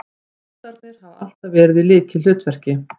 Fossarnir hafa alltaf verið í lykilhlutverki